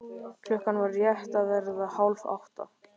Klukkan var rétt að verða hálf átta.